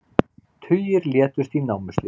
Tugir létust í námuslysi